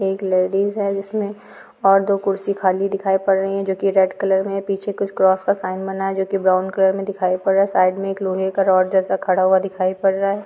एक लेडिज है जिसमे और दो खुरसी खाली दिखाई पड़ रही है जोक रेड कलर मे है पीछे कुछ क्रिस का साइड बना हुआ है जोकव ब्राउन कलर मे दिखाई पड़ रहा है साइड मे एक लोहे का रोड जैसा खड़ा हुआ दिखाई पद रहा है।